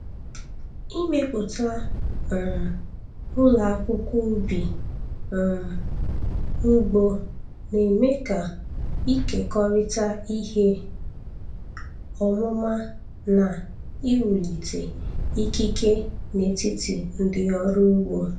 Ịmepụta um ụlọ akwụkwọ ubi um ugbo na-eme ka ịkekọrịta ihe ọmụma na iwulite ikike n'etiti ndị ọrụ ugbo.